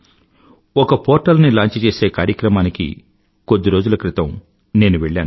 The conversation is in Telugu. ఒక పోర్టల్ ని లాంచ్ చేసే కార్యక్రమానికి కొద్దిరోజుల క్రితం నేను వెళ్లాను